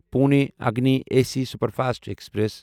Pune Agni A C superfast express